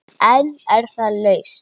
En er það lausn?